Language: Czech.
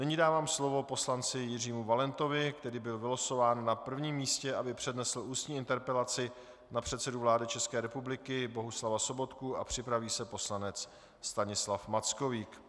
Nyní dávám slovo poslanci Jiřímu Valentovi, který byl vylosován na prvním místě, aby přednesl ústní interpelaci na předsedu vlády České republiky Bohuslava Sobotku, a připraví se poslanec Stanislav Mackovík.